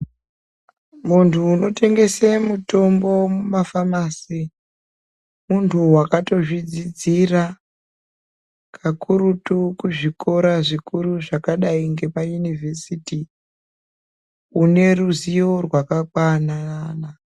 Munthu unotengese mitombo mumafamasi munthu wakatozvidzidzira kakurutu kuzvikora zvikuru zvakadai ngepayunivhesiti une ruzivo rwakakwana.